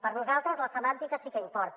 per nosaltres la semàntica sí que importa